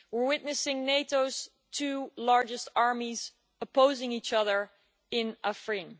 We are witnessing NATO's two largest armies opposing each other in Afrin.